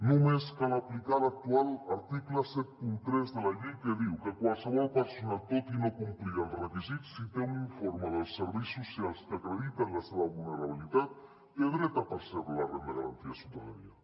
només cal aplicar l’actual article setanta tres de la llei que diu que qualsevol persona tot i no complir els requisits si té un informe dels serveis socials que acredita la seva vulnerabilitat té dret a percebre la renda garantida de ciutadania